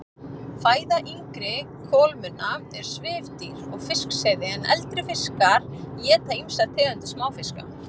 Fæða yngri kolmunna er svifdýr og fiskseiði en eldri fiskar éta ýmsar tegundir smáfiska.